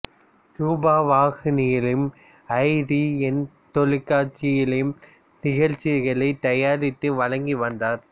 ரூபவாகினியிலும் I T N தொலைக்காட்சியிலும் நிகழ்ச்சிகளை தயாரித்து வழங்கி வந்தார்